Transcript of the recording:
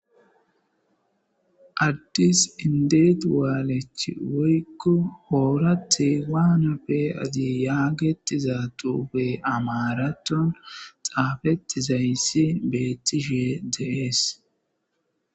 Addis indet waalech woyko oorathe waana pe'ade yagetiza tobey amarathon xaafetizayssi beetishe de'es.